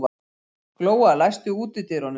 Glóa, læstu útidyrunum.